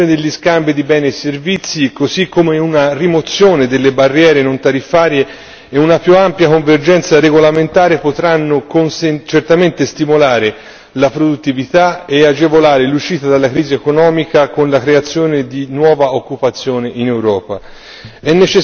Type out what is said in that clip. Una maggiore liberalizzazione degli scambi di beni e servizi così come una rimozione delle barriere non tariffarie e una più ampia convergenza regolamentare potranno certamente stimolare la produttività e agevolare l'uscita dalla crisi economica con la creazione di nuova occupazione in